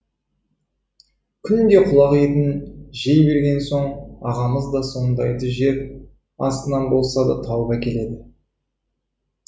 күнде құлақ етін жей берген соң ағамыз да сондайды жер астынан болса да тауып әкеледі